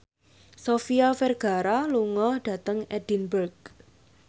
Sofia Vergara lunga dhateng Edinburgh